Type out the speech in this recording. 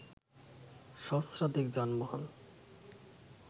সহস্রাধিক যানবাহন